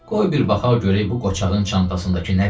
Qoy bir baxaq görək bu qocağın çantasındakı nədir?